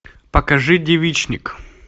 покажи девичник